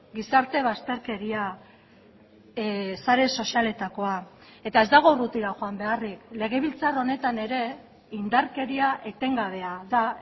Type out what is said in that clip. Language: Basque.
gizarte bazterkeria sare sozialetakoa eta ez dago urrutira joan beharrik legebiltzar honetan ere indarkeria etengabea da